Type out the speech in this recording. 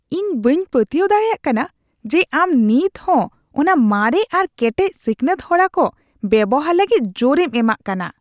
ᱤᱧ ᱵᱟᱹᱧ ᱯᱟᱹᱛᱭᱟᱹᱣ ᱫᱟᱲᱮᱭᱟᱜ ᱠᱟᱱᱟ ᱡᱮ ᱟᱢ ᱱᱤᱛᱦᱚᱸ ᱚᱱᱟ ᱢᱟᱨᱮ ᱟᱨ ᱠᱮᱴᱮᱡ ᱥᱤᱠᱷᱱᱟᱹᱛ ᱦᱚᱨᱟ ᱠᱚ ᱵᱮᱣᱦᱟᱨ ᱞᱟᱹᱜᱤᱫ ᱡᱳᱨᱮᱢ ᱮᱢᱟᱜ ᱠᱟᱱᱟ !